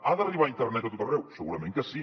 ha d’arribar internet a tot arreu segurament que sí